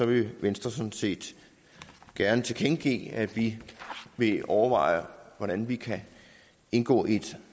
vil venstre sådan set gerne tilkendegive at vi vil overveje hvordan vi kan indgå i et